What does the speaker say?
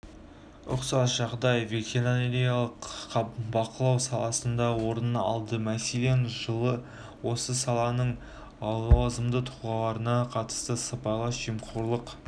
ұқсас жағдай ветеринарлық бақылау саласында орын алды мәселен жылы осы саланың лауазымды тұлғаларына қатысты сыбайлас жемқорлық